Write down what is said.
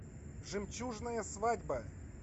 жемчужная свадьба